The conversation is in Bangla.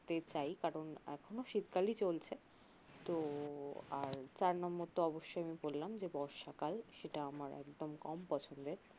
তে চাই কারন এখনও শীতকালই চলছে তো আর চার নম্বর তো অবশ্যই আমি বললাম যে বর্ষাকাল সেটা আমার একদম কম পছন্দের